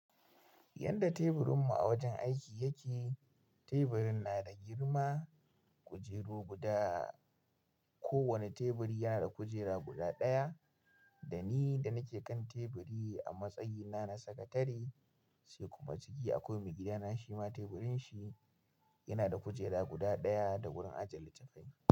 Yadda teburin mu a wajen aiki yake, teburin na da girma, kujeru guda, ko wani teburi yana da kujera guda ɗaya, da ni da nake kan teburi a matsayina na sakatare, sai kuma ciki akwai maigida nashi ma teburin shi yana da kujera guda ɗaya da wurin aje littattafai.